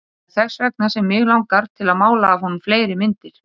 Það er þess vegna sem mig langar til að mála af honum fleiri myndir.